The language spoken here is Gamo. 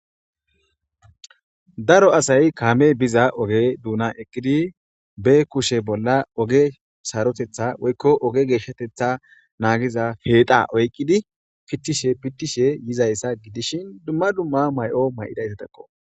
Daro asay kamey biza oge dunana eqidi ba kushen oge sarotetha woyiko geshatetha nagiza puxa oyikidi pitishe pitishe dizayisa gidishin duma duma mayo mayidayisako